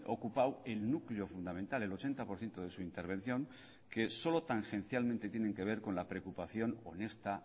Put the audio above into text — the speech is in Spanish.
ocupado el núcleo fundamental el ochenta por ciento de su intervención que solo tangencialmente tienen que ver con la preocupación honesta